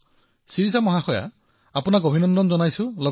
বাহ শিৰিষা জী আপোনাক অভিনন্দন জনাইছো